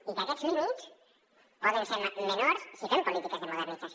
i aquests límits poden ser menors si fem polítiques de modernització